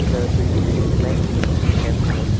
The building looks like a school campus.